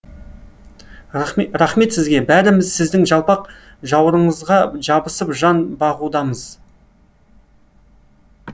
рахмет сізге бәріміз сіздің жалпақ жауырыныңызға жабысып жан бағудамыз